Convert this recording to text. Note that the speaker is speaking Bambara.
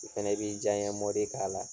O fɛnɛ b'i diyaɲɛ mɔdi k'a la